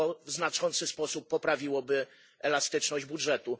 To w znaczący sposób poprawiłoby elastyczność budżetu.